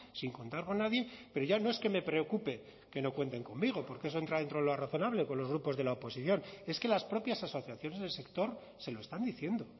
sin contar con nadie pero ya no es que me preocupe que no cuenten conmigo porque eso entra dentro de lo razonable con los grupos de la oposición es que las propias asociaciones del sector se lo están diciendo